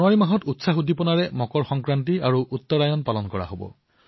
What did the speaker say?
জানুৱাৰীৰ অশেষ ধুমধামেৰে মকৰ সংক্ৰান্তি আৰু উত্তৰায়ণ পালন কৰা হয়